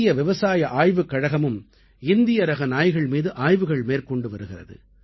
இந்திய விவசாய ஆய்வுக் கழகமும் இந்திய ரக நாய்கள் மீது ஆய்வுகள் மேற்கொண்டு வருகிறது